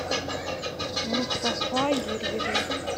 мустафа юрьевна